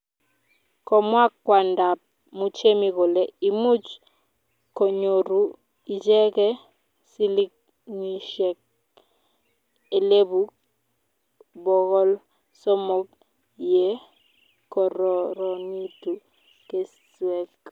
kimwa kwondab Muchemi kole imuch konyoru icheke silingisiek elipu bokol somok yekororonitu keswek